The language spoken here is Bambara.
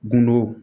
Gundow